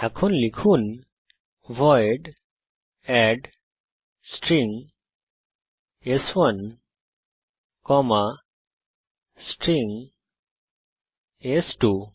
এখন লিখুন void add string স্1 কমা স্ট্রিং স্2